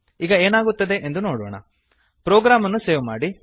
ಈಗ ಏನಾಗುತ್ತದೆ ಎಂದು ನೋಡೋಣ ಪ್ರೊಗ್ರಾಮ್ ಅನ್ನು ಸೇವ್ ಮಾಡಿ